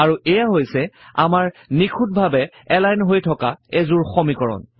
আৰু এইয়া হৈছে আমাৰ নিখুঁতভাৱে এলাইন হৈ থকা এযোৰ সমীকৰণ